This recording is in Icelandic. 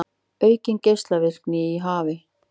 Aukin geislavirkni í hafi